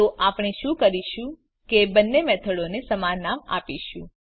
તો આપણે શું કરીશું કે બંને મેથડોને સમાન નામ આપીશું